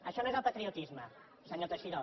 això no és el patriotisme senyor teixidó